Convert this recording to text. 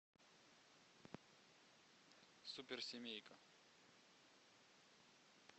суперсемейка